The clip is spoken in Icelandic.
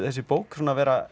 þessi bók svona vera